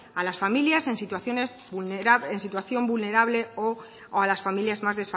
a las familias en situación vulnerable o a las familias más